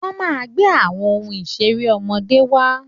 Wọ́n máa gbé àwọn ohun ìṣeré ọmọdé wá